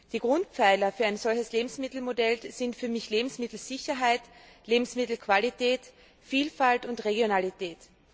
Die Grundpfeiler für ein solches Lebensmittelmodell sind für mich Lebensmittelsicherheit, Lebensmittelqualität, Vielfalt und Regionalität.